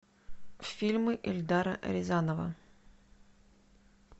фильмы эльдара рязанова